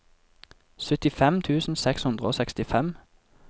syttifem tusen seks hundre og sekstifem